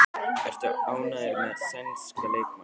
Ertu ánægður með sænska leikmanninn?